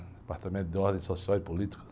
Departamento de Ordem Social e Política.